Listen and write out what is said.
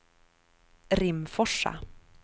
Rimforsa